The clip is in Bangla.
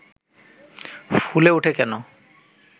ফুলে উঠে কেন